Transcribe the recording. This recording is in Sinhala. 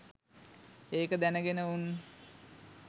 ඒක දැනගෙන උන්